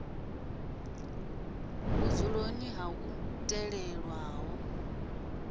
vhudzuloni ha iḽo ḽo talelwaho